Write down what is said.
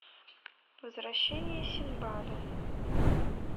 возвращение синдбада